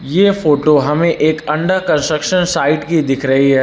ये फोटो हमें एक अंडर कंस्ट्रक्शन साइट की दिख रही है।